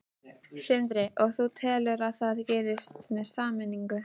Sindri: Og þú telur að það gerist með sameiningu?